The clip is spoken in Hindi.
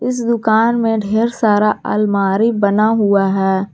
इस दुकान में ढेर सारा आलमारी बना हुआ है।